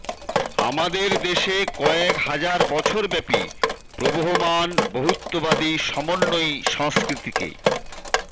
আমাদের দেশে কয়েক হাজার বছরব্যাপী প্রবহমান বহুত্ববাদী সমন্বয়ী সংস্কৃতিকে